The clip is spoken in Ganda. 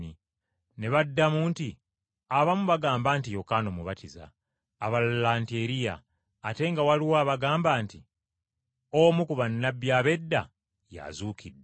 Ne baddamu nti, “Abamu bagamba nti Yokaana Omubatiza, abalala nti Eriya, ate nga waliwo abagamba nti omu ku bannabbi ab’edda y’azuukidde.”